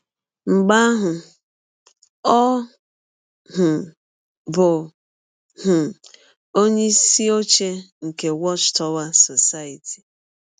Mgbe ahụ ọ um bụ um onyeisi ọche nke Watch Tower Society.